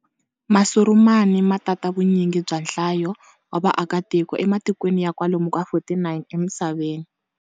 Masurumani ma tata vunyingi bya nhlayo wa vakatiko ematikweni ya kwalomu ka 49 emisaveni.